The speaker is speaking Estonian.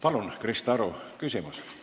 Palun, Krista Aru, küsimus!